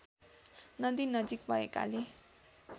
नदी नजिक भएकाले